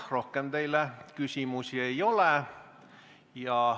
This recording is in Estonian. Rohkem teile küsimusi ei ole.